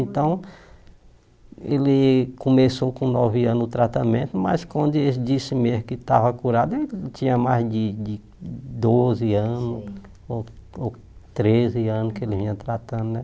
Então, ele começou com nove anos o tratamento, mas quando ele disse mesmo que estava curado, ele tinha mais de de doze anos, ou ou treze anos que ele vinha tratando